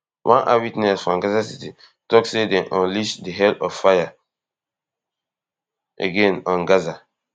one eyewitness from gaza city tok say dem unleash di fire of hell again on gaza